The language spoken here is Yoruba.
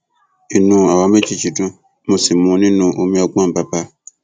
inú àwa méjèèjì dùn mo sì mu nínú omi ọgbọn bàbà